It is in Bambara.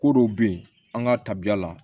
Ko dɔw bɛ yen an ka tabiya la